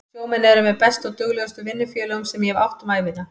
Sjómenn eru með bestu og duglegustu vinnufélögum sem ég hef átt um ævina.